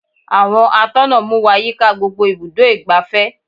Àwọn atọ́nà mú wá yíká gbogbo ibùdó igbàfẹ́.